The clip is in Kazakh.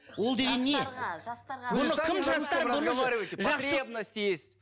ол деген не жастарға жастарға